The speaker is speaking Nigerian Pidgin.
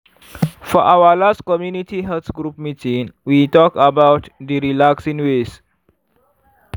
for our last community health group meeting we talk about d relaxing ways.